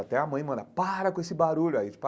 Até a mãe mandava para com esse barulho aí.